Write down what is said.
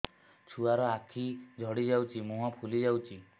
ଛୁଆର ଆଖି ଜଡ଼ି ଯାଉଛି ମୁହଁ ଫୁଲି ଯାଇଛି